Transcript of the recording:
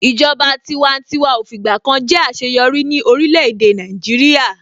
Ìjọba tiwantiwa ò fìgbà kan jẹ́ àṣeyọrí ní orílẹ̀-èdè Nàìjíríà.